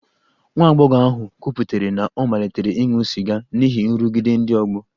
Nwa agbọghọ ahụ kwupụtara na ọ malitere ịṅụ sịga n'ihi nrụgide ndị ọgbọ